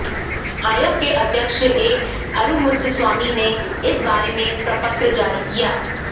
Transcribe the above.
आयोग के अध्यक्ष ए अरुमुघस्वामी ने इस बारे में प्रपत्र जारी किया